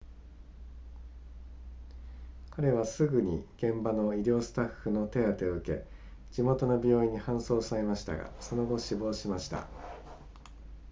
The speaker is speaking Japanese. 彼はすぐに現場の医療スタッフの手当てを受け地元の病院に搬送されましたがその後死亡しました